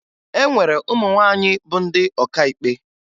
E nwere ụmụ nwaanyị bụ ndị ọkàikpe